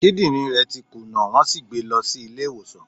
Kidin re ti kuna, won si gbe e lo si ile iwosan